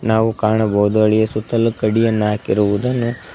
ನಾವು ಕಾಣಬಹುದು ಹಳಿಯ ಸುತ್ತಲು ಕಡಿಯನ ಹಾಕಿರುವುದನ್ನು--